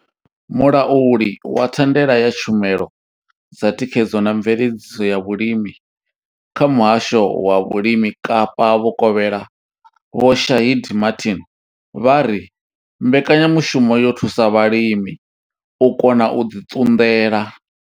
Mulauli wa thandela ya tshumelo dza thikhedzo na mveledziso ya vhulimi kha muhasho wa vhulimi Kapa vhukovhela Vho Shaheed Martin vha ri mbekanyamushumo yo thusa vhalimi u kona u ḓi ṱunḓela.